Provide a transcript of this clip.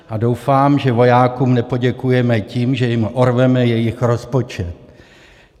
A doufám, že vojákům nepoděkujeme tím, že jim orveme jich rozpočet.